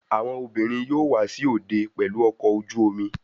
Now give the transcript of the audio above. Àwọn obìnrin yóò wá sí òde pẹlú ọkọ ojú-omi